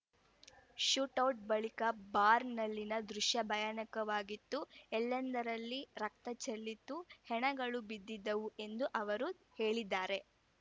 shootout ಬಳಿಕ ಬಾರ್‌ನಲ್ಲಿನ ದೃಶ್ಯ ಭಯಾನಕವಾಗಿತ್ತು ಎಲ್ಲೆಂದರಲ್ಲಿ ರಕ್ತ ಚೆಲ್ಲಿತ್ತು ಹೆಣಗಳು ಬಿದ್ದಿದ್ದವು ಎಂದು ಅವರು ಹೇಳಿದ್ದಾರೆ